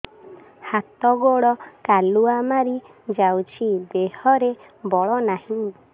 ହାତ ଗୋଡ଼ କାଲୁଆ ମାରି ଯାଉଛି ଦେହରେ ବଳ ନାହିଁ